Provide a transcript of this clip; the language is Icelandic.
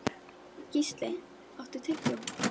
Gísli, áttu tyggjó?